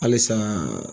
Halisa